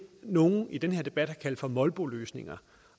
nogle i den her debat har kaldt for molboløsninger